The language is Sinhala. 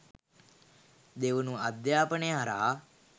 දෙවනුව අධ්‍යාපනය හරහා